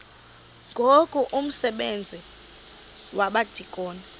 ngoku umsebenzi wabadikoni